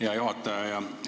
Hea juhataja!